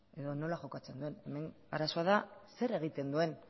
edo nola jokatzen duen hemen arazoa da zer egiten duen